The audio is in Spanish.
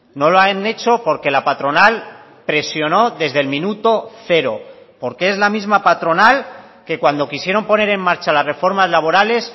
no lo han hecho porque la patronal presionó desde el minuto cero porque es la misma patronal que cuando quisieron poner en marcha las reformas laborales